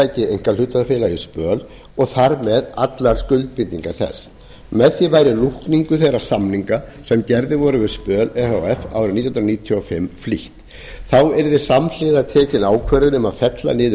yfirtaki einkahlutafélagið spöl og þar með allar skuldbindingar þess með því væri lúkningu þeirra samninga sem gerðir væru við spöl e h f árið nítján hundruð níutíu og fimm flýtt þá yrði samhliða tekin ákvörðun um að fella niður